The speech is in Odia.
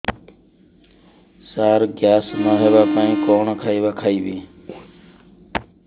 ସାର ଗ୍ୟାସ ନ ହେବା ପାଇଁ କଣ ଖାଇବା ଖାଇବି